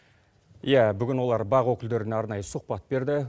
иә бүгін олар бақ өкілдеріне арнайы сұхбат берді